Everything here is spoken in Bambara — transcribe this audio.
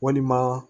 Walima